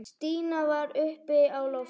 Stína var uppi á lofti.